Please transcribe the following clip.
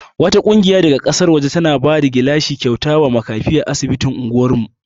Wata ƙungiya daga ƙasar waje tana bada gilashi kyauta wa makafi a asibitin anguwar mu.